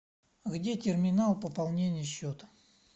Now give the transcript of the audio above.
где терминал пополнения счета